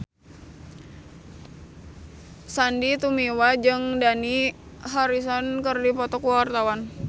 Sandy Tumiwa jeung Dani Harrison keur dipoto ku wartawan